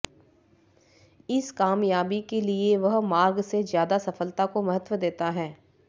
इस कामयाबी के लिए वह मार्ग से ज्यादा सफलता को महत्व देता है